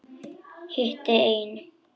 Hitti einn.